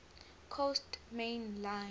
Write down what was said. coast main line